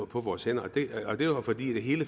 på vores hænder og det var fordi det hele